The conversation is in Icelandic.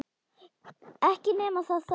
Ekki nema það þó!